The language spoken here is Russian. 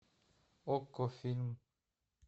окко фильм